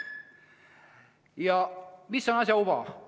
Ja mis on asja uba?